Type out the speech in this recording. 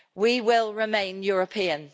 We will remain European.